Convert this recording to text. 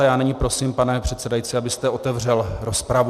A já nyní prosím, pane předsedající, abyste otevřel rozpravu.